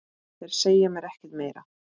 Þeir segja mér ekkert meira.